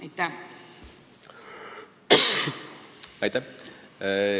Aitäh!